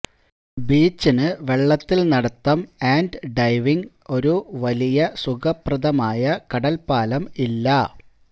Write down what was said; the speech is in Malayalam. ബീച്ച് ന് വെള്ളത്തിൽ നടത്തം ആൻഡ് ഡൈവിംഗ് ഒരു വലിയ സുഖപ്രദമായ കടൽപ്പാലം ഇല്ല